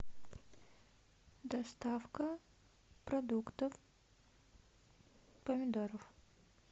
доставка продуктов помидоров